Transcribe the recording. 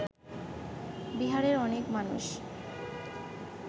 বিহারের অনেক মানুষ